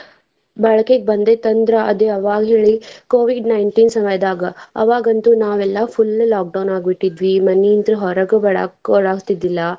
ಬಳಕೆಗೆ ಬಂದೈತಿ ಅಂದ್ರ ಅದ್ ಯಾವಾಗ ಹೇಳಿ Covid nineteen ಸಮಯದಾಗ ಅವಾಗ ಅಂತು ನಾವೆಲ್ಲಾ full lockdown ಆಗಿ ಬಿಟ್ಟಿದ್ವಿ ಮನೆಯಿಂತ್ರ ಹೊರಗ್ ಬರಾಕು ಆಗ್ತಿದ್ದಿಲ್ಲಾ.